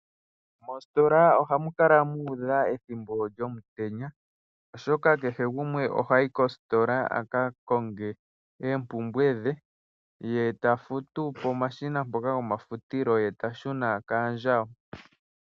Moositola ohamu kala mu udha ethimbo lyomutenya oshoka kehe gumwe ohayi kositola aka konge oompumbwe dhe. Ye ta futu pomashina mpoka go mafutilo ye ta shuna kaandjawo.